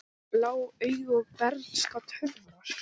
Blá augu, bernska og töfrar